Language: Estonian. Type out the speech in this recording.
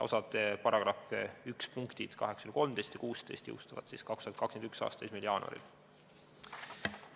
Paragrahvi 1 üks punktid 8–13 ja 16 jõustuvad 2021. aasta 1. jaanuaril.